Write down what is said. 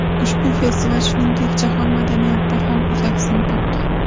Ushbu festival, shuningdek, jahon madaniyatida ham o‘z aksini topgan.